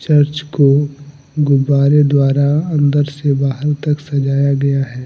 Church को गुब्बारे द्वारा अंदर से बाहर तक सजाया गया है।